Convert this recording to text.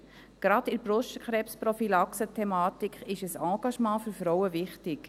Gerade bei der Thematik der Brustkrebsprophylaxe ist ein Engagement für Frauen wichtig.